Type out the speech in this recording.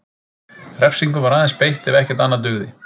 Refsingum var aðeins beitt ef ekkert annað dugði.